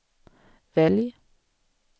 välj